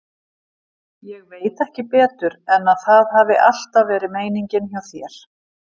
Ég veit ekki betur en að það hafi alltaf verið meiningin hjá þér.